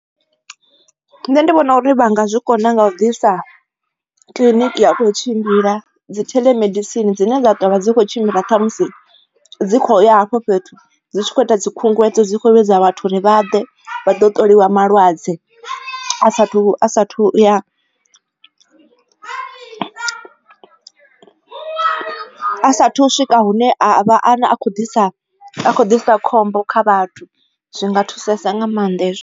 Nṋe ndi vhona uri vha nga zwi kona nga u ḓisa kiliniki ya uto tshimbila dzi theḽomedisini dzine dza ṱavha dzi kho tshimbila kha musi dzi kho ya hafho fhethu dzi tshi kho ita dzi khunguwedzo dzi khovhe dza vhathu uri vha ḓe vha ḓo ṱoliwa malwadze a sathu a sathu ya a saathu u swika hune a khou ḓisa ḓisa khombo kha vhathu zwi nga thusesa nga maanḓa hezwo.